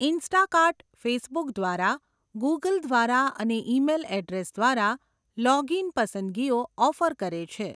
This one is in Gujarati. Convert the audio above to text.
ઇન્સ્ટાકાર્ટ ફેસબુક દ્વારા, ગૂગલ દ્વારા અને ઈમેલ એડ્રેસ દ્વારા લૉગિન પસંદગીઓ ઑફર કરે છે.